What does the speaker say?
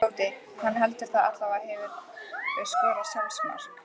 Tóti, hann heldur það allavega Hefurðu skorað sjálfsmark?